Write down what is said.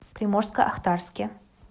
приморско ахтарске